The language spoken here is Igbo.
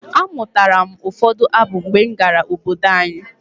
Amụtara m ụfọdụ abụ mgbe m gara obodo anyi.